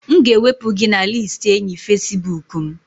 M ga-ewepụ gị na listi enyi Facibụkụ m